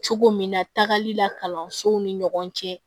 Cogo min na tagali la kalansow ni ɲɔgɔn cɛ